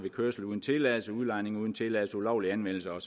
kørsel uden tilladelse udlejning uden tilladelse ulovlig anvendelse og